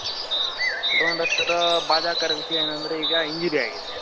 all-rounder ತರ ಬಾದಕರ ವಿಷ್ಯ ಏನಂದ್ರೆ ಈಗ injury ಆಗಿದೆ .